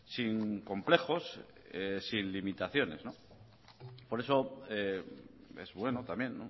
sin complejos sin limitaciones por eso es bueno también